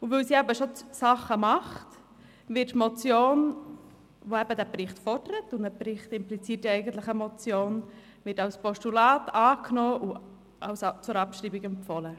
Weil sie eben schon etwas tut, wird die Motion – die eben diesen Bericht fordert, und ein Bericht impliziert ja eigentlich eine Motion – als Postulat angenommen und zur Abschreibung empfohlen.